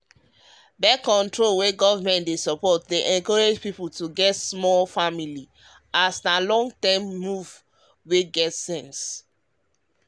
um birth-control wey government dey support dey encourage pipo to get small um familyas na lon-term move wey get sense